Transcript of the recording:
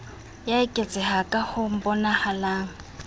ya eketseha ka ho bonahalang